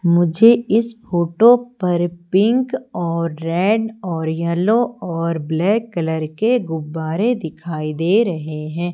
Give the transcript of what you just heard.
मुझे इस फोटो पर पिंक और रेड और येलो और ब्लैक कलर के गुब्बारे दिखाई दे रहे हैं।